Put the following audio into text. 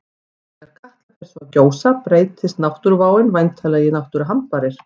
Þegar Katla svo fer að gjósa breytist náttúruváin væntanlega í náttúruhamfarir.